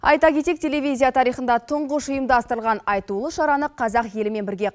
айта кетейік телевизия тарихында тұңғыш ұйымдастырылған айтулы шараны қазақ елімен бірге